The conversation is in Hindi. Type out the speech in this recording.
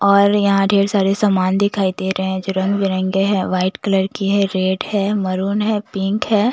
और यहाँ ढेर सारे सामान दिखाई दे रहे हैं जो रंग बिरंगे हैं व्हाइट कलर की है रेड है मरून है पिंक है।